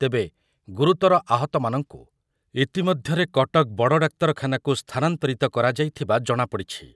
ତେବେ ଗୁରୁତର ଆହତମାନଙ୍କୁ ଇତିମଧ୍ୟରେ କଟକ ବଡଡାକ୍ତରଖାନାକୁ ସ୍ଥାନାନ୍ତରିତ କରାଯାଇଥିବା ଜଣାପଡ଼ିଛି ।